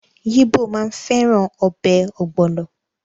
The yibo maa n feran obe ogbolo